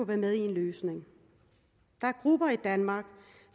være med i en løsning der er grupper i danmark